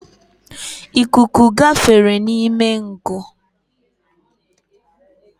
Ikuku gafere n’ime ngụ